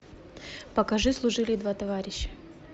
покажи служили два товарища